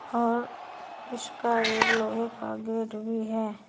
और इसका एक लोहे का गेट भी है।